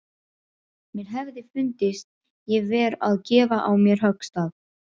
Mér hefði fundist ég vera að gefa á mér höggstað.